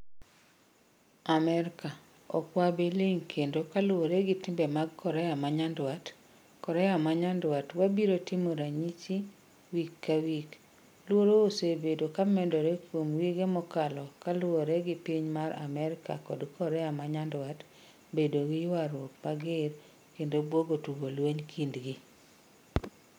Amerika: Okwabiling kendo kaluore gi timbe mag Korea manyandwat. Korea manyandwat: Wabiro timo ranysi wik kawik. Luoro osebedo kamedore kuom wige mokalo kaluore gi piny mar Amerika kod Korea manyandwat bedo gii ywaruok mager kendo buogo tugo lweny kindgi.